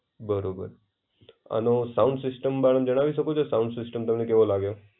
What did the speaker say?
બરોબર. અને sound system બારામાં જાણવાની શકો છો? સાઉન્ડ સિસ્ટમ તમને કેવો લાગે?